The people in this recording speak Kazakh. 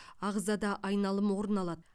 ағзада айналым орын алады